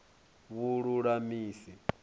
vhululamisi